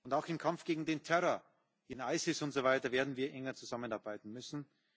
Und auch im Kampf gegen den Terror, gegen ISIS und so weiter werden wir enger zusammenarbeiten müssen.